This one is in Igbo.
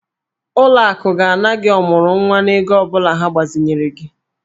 Ụlọ akụ ga-ana gị ọmụrụnwa n'ego ọ bụla ha gbazinyere gị.